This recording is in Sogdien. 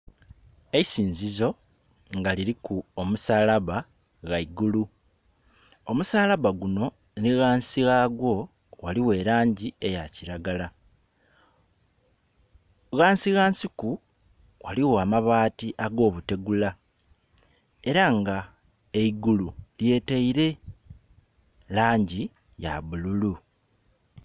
Eisinzizo nga liliku omusalaba ghaigulu. Omusalaba guno ni ghansi ghawo ghaligho elangi eya kiragala, ghansi ghansiku ghaligho amabaati ag'obutegula era nga eigulu lyeteire langi ya bululu.